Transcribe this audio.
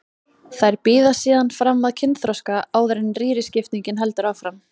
Þær bíða síðan fram að kynþroska áður en rýriskiptingin heldur áfram.